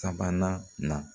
Sabanan na